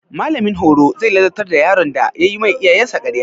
Mallamin horo zai ladabtar da yaron da yayi ma iyayensa ƙarya.